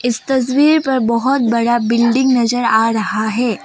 इस तस्वीर पर बहोत बड़ा बिल्डिंग नजर आ रहा है।